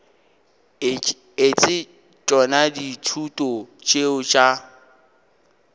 etse tšona dithuto tšeo tša